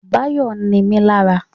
Báyọ̀ nimí lára